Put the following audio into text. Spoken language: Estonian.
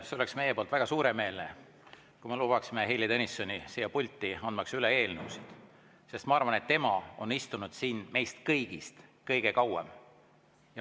See oleks meie poolt väga suuremeelne, kui me lubaksime Heili Tõnissoni siia pulti, andmaks üle eelnõusid, sest, ma arvan, tema on istunud siin meist kõigist kõige kauem.